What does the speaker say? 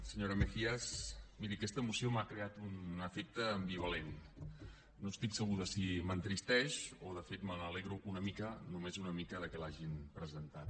senyora mejías miri aquesta moció m’ha creat un efecte ambivalent no estic segur de si m’entristeix o si de fet me n’alegro una mica només una mica que l’hagin presentat